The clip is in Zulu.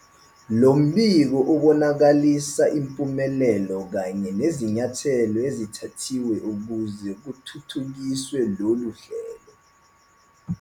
Lo mbiko ubonakalisa impumelelo kanye nezinyathelo ezithathiwe ukuze kuthuthukiswe lolu hlelo.